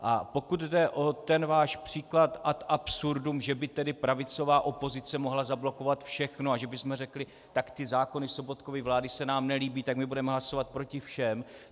A pokud jde o ten váš příklad ad absurdum, že by tedy pravicová opozice mohla zablokovat všechno a že bychom řekli: Tak ty zákony Sobotkovy vlády se nám nelíbí, tak my budeme hlasovat proti všem.